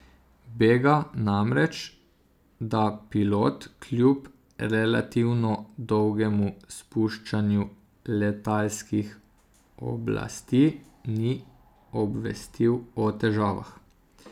Bega namreč, da pilot kljub relativno dolgemu spuščanju letalskih oblasti ni obvestil o težavah.